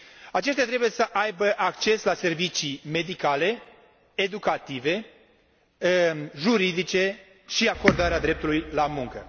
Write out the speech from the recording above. Aceștia trebuie să aibă acces la servicii medicale, educative, juridice și la acordarea dreptului la muncă.